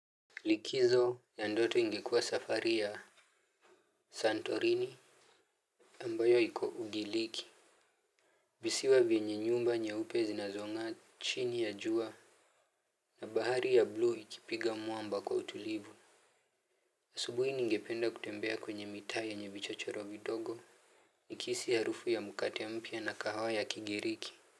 Likizo ya ndoto ingekua safari ya santorini ambayo iko ugiriki visiwa vyenye nyumba nyeupe zinazongaa chini ya jua na bahari ya buluu ikipiga mwamba kwa utulivu asubuini ingependa kutembea kwenye mitaya nye vichochoro vidogo nikisi harufu ya mukate mpia na kahawa ya kigiriki Muzika.